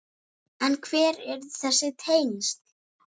En hver eru þessi tengsl?